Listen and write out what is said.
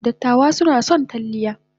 Dattawa suna son salliya.